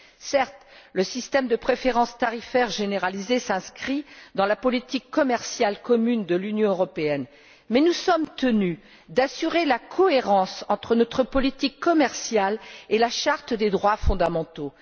Certes, le régime de préférence tarifaire généralisé s'inscrit dans la politique commerciale commune de l'Union européenne, mais nous sommes tenus d'assurer la cohérence entre notre politique commerciale et la Charte des droits fondamentaux.